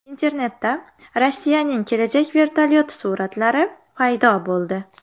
Internetda Rossiyaning kelajak vertolyoti suratlari paydo bo‘ldi.